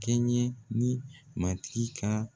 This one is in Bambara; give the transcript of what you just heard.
Kɛɲɛ ni matigi ka